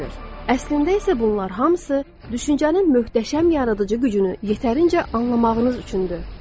Əslində isə bunlar hamısı düşüncənin möhtəşəm yaradıcı gücünü yetərincə anlamağımız üçündür.